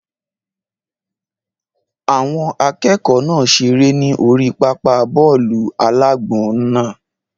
Àwọn akẹ́kọ̀ọ́ náà seré ní orí pápá bọ́ọ̀lù-alágbọ̀n náà